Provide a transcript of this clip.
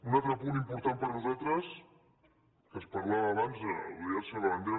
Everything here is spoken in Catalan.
un altre punt important per nosaltres que es parlava abans ho deia el senyor labandera